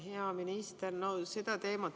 Hea minister!